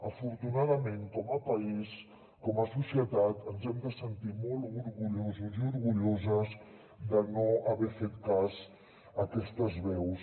afortunadament com a país com a societat ens hem de sentir molt orgullosos i orgulloses de no haver fet cas d’aquestes veus